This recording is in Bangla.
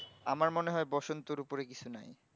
আমার মনে হয় বসন্তের উপরে কিছু নাই